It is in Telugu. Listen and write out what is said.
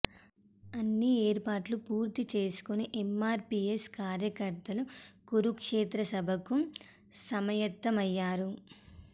అన్ని ఏర్పాట్లు పూర్తి చేసుకుని ఎమ్మార్పీఎస్ కార్యకర్తలు కురుక్షేత్ర సభకు సమాయత్తమయ్యారు